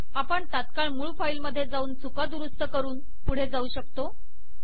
आपण तात्काळ मूळ फाइल मधे जाऊन चुका दुरुस्त करून पुढे जाऊ शकतो